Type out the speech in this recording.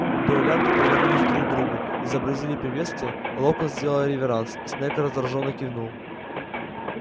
дуэлянты повернулись друг к другу изобразили приветствие локонс сделал реверанс снегг раздражённо кивнул